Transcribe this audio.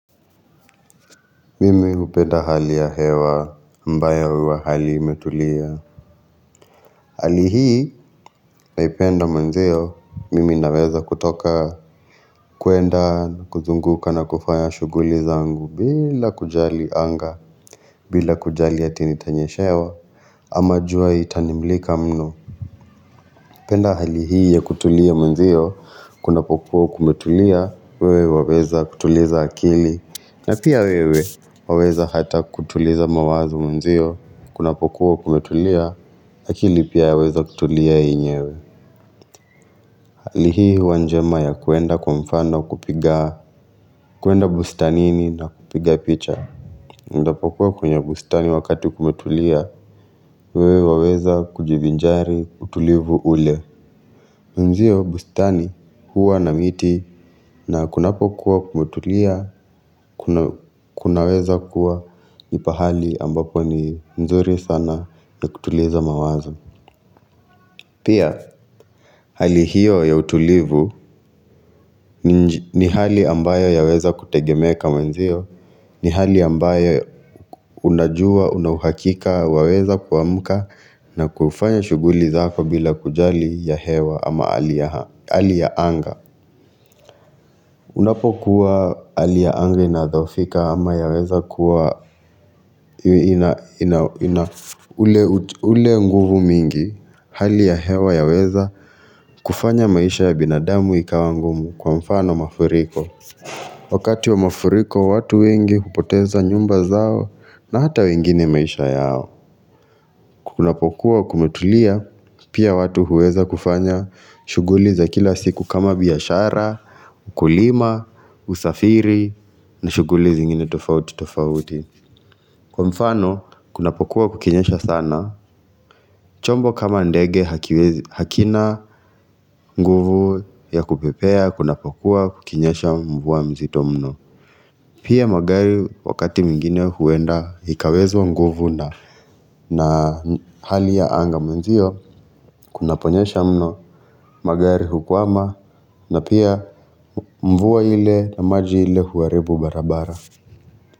Mimi hupenda hali ya hewa ambayo huwa hali imetulia Hali hii naipenda mwanzio mimi naweza kutoka kwenda kuzunguka na kufanya shughuli zangu bila kujali anga bila kujali hati nitanyeshewa ama jua itanimulika mno hupenda hali hii ya kutulia mwanzio kuna pokuwa kumetulia wewe waweza kutuliza akili na pia wewe waweza hata kutuliza mawazo mwenzio kuna pokuwa kumetulia, akili pia ya weza kutulia yenyewe. Hali hii huwa njema ya kuenda kwa mfano kupiga, kuenda bustanini na kupiga picha. Unapokuwa kwenye bustani wakati kumetulia, wewe waweza kujivinjari utulivu ule. Mwenzio bustani huwa na miti na kunapo kuwa kumetulia, kunaweza kuwa ni pahali ambapo ni nzuri sana na kutuliza mawazo. Pia, hali hiyo ya utulivu ni hali ambayo ya weza kutegemeka mwenzio, ni hali ambayo unajua, unauhakika, waweza kuamka na kufanya shughuli zako bila kujali ya hewa ama hali ya haa, hali ya anga. Unapokuwa hali ya anga inadhoofika ama ya weza kuwa ule nguvu mingi Hali ya hewa ya weza kufanya maisha ya binadamu ikawangumu kwa mfano mafuriko Wakati wa mafuriko watu wengi hupoteza nyumba zao na hata wengine maisha yao kunapokuwa kumetulia pia watu huweza kufanya shughuli za kila siku kama biashara Ukulima, usafiri na shughuli zingine tofauti tofauti Kwa mfano kuna pokuwa kukinyesha sana chombo kama ndege hakina nguvu ya kupepea Kuna pokuwa kukinyesha mvua mzitomno Pia magari wakati mwingine huenda Ikawezwa nguvu na hali ya anga mwenzio Kuna ponyesha mno magari hukwama na pia mvua ile na maji ile huharibu barabara.